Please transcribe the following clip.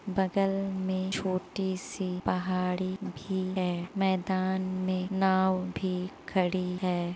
बगल में छोटी सी पहाड़ी भी है मैदान में नाँव भी खड़ी है।